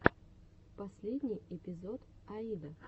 последний эпизод аида